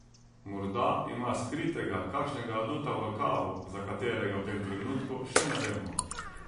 Morda ima skritega kakšnega aduta v rokavu, za katerega v tem trenutku še ne vemo.